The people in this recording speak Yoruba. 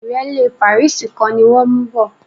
ìrẹ́lẹ́ pàríìsì kan ni wọ́n mú bọ̀